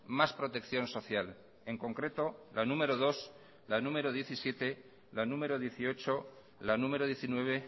más protección social en concreto la número dos la número diecisiete la número dieciocho la número diecinueve